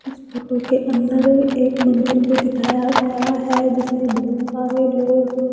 इस फोटो के अंदर एक मंदिर को दिखाया गया है जिसमें बहुत सारे लोग--